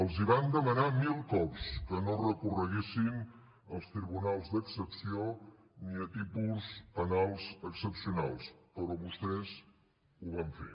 els hi van demanar mil cops que no recorreguessin als tribunals d’excepció ni a tipus penals excepcionals però vostès ho van fer